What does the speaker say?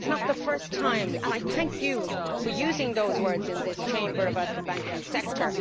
It is not the first time and I thank you for using those words in this Chamber about the banking sector.